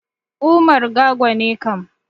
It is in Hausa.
Umar Gago ne kam.